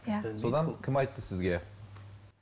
иә содан кім айтты сізге